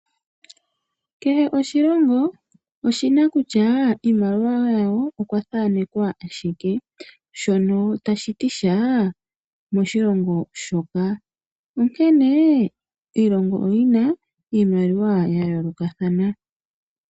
Kehe oshilongo oshi na kutya kiimaliwa yawo oya okwa thanekwa shike shono tashi ti sha moshilongo shoka onkene iilongo oyi na iimaliwa ya yoolokathana.